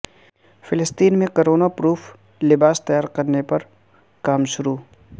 فلسطین میں corona proof لباس تیار کرنے پر کام شروع